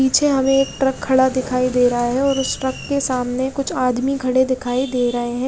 पीछे हमे एक ट्रक खड़ा दिख रहा है और उस ट्रक के सामने कुछ आदमी खड़े दिखाई दे रहे है।